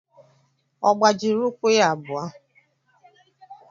Ọ gbajiri ụkwụ ya abụọ?